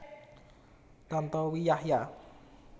Tantowi Yahya